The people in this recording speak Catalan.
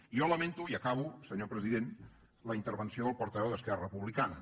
jo lamento i acabo senyor president la intervenció del portaveu d’esquerra republicana